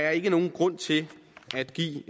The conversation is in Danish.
er nogen grund til at give